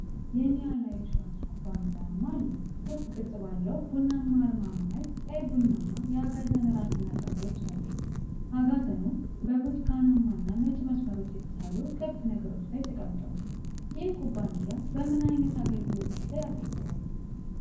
የኒያላ ኢንሹራንስ ኩባንያ አርማ አለ። ክብ ቅርጽ ባለው ቡናማ አርማ መሃል ቀይ-ቡናማ የአጋዘን ራስና ቀንዶች አሉ። አጋዘኑ በብርቱካናማና ነጭ መስመሮች የተሳሉ ክብ ነገሮች ላይ ተቀምጧል። ይህ ኩባንያ በምን ዓይነት አገልግሎቶች ላይ ያተኩራል?